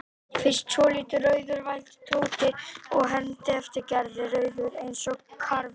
Fyrst svolítið rauður vældi Tóti og hermdi eftir Gerði, rauður eins og karfi.